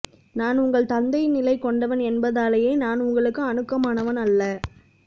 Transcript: நான் உங்கள் தந்தைநிலை கொண்டவன் என்பதனாலேயே நான் உங்களுக்கு அணுக்கமானவன் அல்ல